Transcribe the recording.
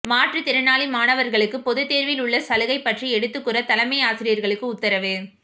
மாற்றுத்திறனாளி மாணவர்களுக்கு பொதுத்தேர்வில் உள்ள் சலுகை பற்றி எடுத்துக்கூற தலைமை ஆசிரியர் களுக்கு உத்திரவு